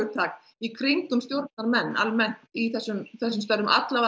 í kringum stjórnarmenn í þessum þessum störfum